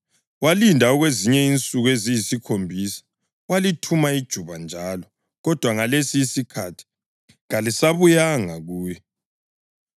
Walinda okwezinye insuku eziyisikhombisa walithuma ijuba njalo, kodwa ngalesi isikhathi kalisabuyanga kuye.